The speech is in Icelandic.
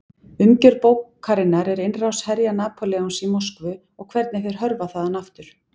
Umgjörð bókarinnar er innrás herja Napóleons í Moskvu og hvernig þeir hörfa þaðan aftur.